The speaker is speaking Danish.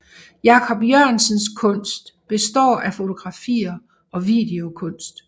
Jacob Jørgensens kunst består af fotografier og videokunst